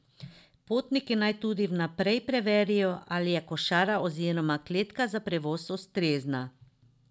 Potniki naj tudi vnaprej preverijo, ali je košara oziroma kletka za prevoz ustrezna.